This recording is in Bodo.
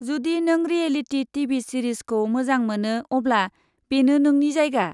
जुदि नों रियेलिटी टिभि सिरिजखौ मोजां मोनो अब्ला बेनो नोंनि जायगा।